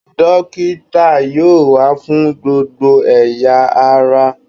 Dókítà yóò wà fún gbogbo ẹ̀ya ará